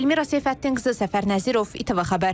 Elmira Seyfəddinqızı Səfər Nəzirov, ATV Xəbər.